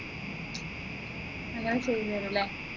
അങ്ങനെ ചെയ്തുതരും ല്ലേ